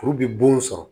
Kuru bi bon sɔrɔ